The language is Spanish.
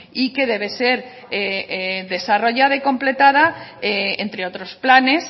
y que debe ser desarrollada y completada entre otros planes